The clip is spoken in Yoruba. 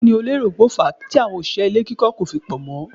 Kí ni o lérò pé ó fàá tí àwọn òṣìṣẹ́ ilé kíkọ́ kò fi pọ̀ mọ́?